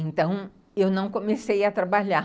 Então, eu não comecei a trabalhar.